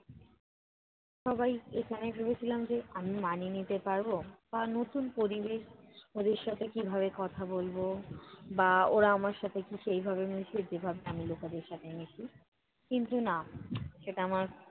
সবাই এখানে ভেবেছিলাম যে, আমি মানিয়ে নিতে পারবো? নতুন পরিবেশ ওদের সাথে কীভাবে কথা বলবো বা ওরা আমার সাথে কি সেইভাবে মিশবে? যেভাবে আমি লোকেদের সাথে মিশি। কিন্তু না, সেটা আমার